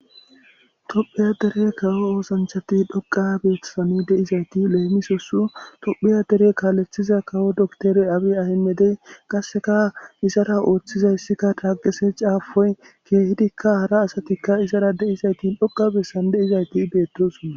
tophiya dere kawo oosanchati dhoqa beeththasani deizayti leemisosu tophiya dere kaalethiza kawo doktore abe ahimedey qasseka izara ooththizayssikka taaqise caafoy keehidikka hara asatikka izara de7izayti dhoqa bessan deizayti beettosona